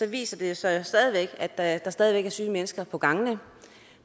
viser det sig jo at der stadig væk er syge mennesker på gangene